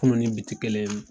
Kunu ni bi ti kelen ye mun.